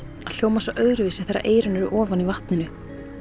hljómar svo öðruvísi þegar eyrun eru ofan í vatninu